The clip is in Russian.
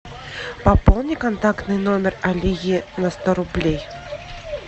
пополни контактный номер алие на сто рублей